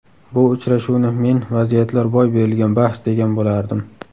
Bu uchrashuvni men vaziyatlar boy berilgan bahs, degan bo‘lardim.